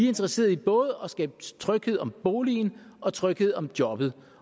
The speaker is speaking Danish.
interesserede i både at skabe tryghed om boligen og tryghed om jobbet